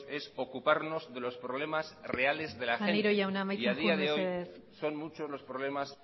es ocuparnos de los problemas reales de la gente maneiro jauna amaitzen jo mesedez y a día de hoy son muchos los problemas